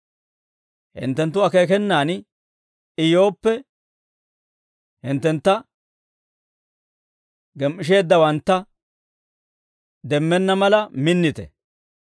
Hinttenttu akeekenaan I yooppe, hinttentta gem"isheeddawantta demmenna mala minnite.